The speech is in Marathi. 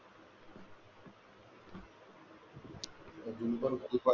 खूप आहे